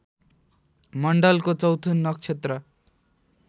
मण्डलको चौथो नक्षत्र